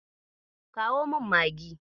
Kawo min Maggi.